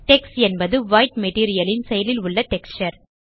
டெக்ஸ் என்பது white material ன் செயலில் உள்ள டெக்ஸ்சர்